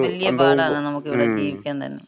വല്യ പാടാണ് നമ്മക്കിവിടെ ജീവിക്കാൻ തന്നെ.